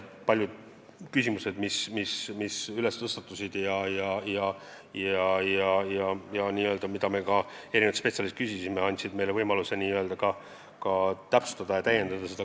Paljud küsimused, mis tõstatusid ja mille kohta me erinevatelt spetsialistidelt küsisime, andsid meile võimaluse eelnõu täpsustada ja täiendada.